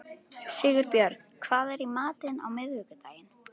Sigurbjörn, hvað er í matinn á miðvikudaginn?